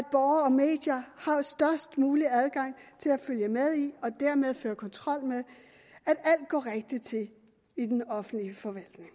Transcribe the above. borgere og medier har størst mulig adgang til at følge med i og dermed føre kontrol med at alt går rigtigt til i den offentlige forvaltning